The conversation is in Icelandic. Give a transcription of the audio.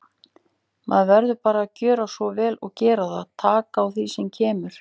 Maður verður bara að gjöra svo vel og gera það, taka á því sem kemur.